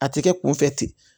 A tɛ kɛ kunfɛ ten